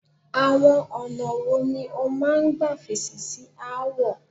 Àọn ọ̀nà wo ni o máa ń gbà fèsì sí aáwọ̀?